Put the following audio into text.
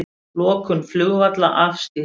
Lokun flugvalla afstýrt